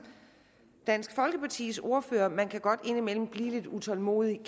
dansk folkepartis ordfører man kan godt indimellem blive lidt utålmodig og